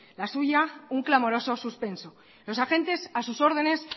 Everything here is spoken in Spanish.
la suya un clamoroso suspenso los agentes a sus órdenes